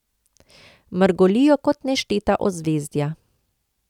Mrgolijo kot nešteta ozvezdja.